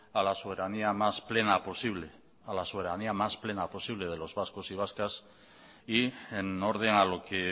a la soberanía más plena posible a la soberanía más plena posible de los vascos y vascas y en orden a lo que